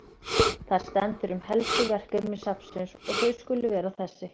Þar stendur um helstu verkefni safnsins að þau skuli vera þessi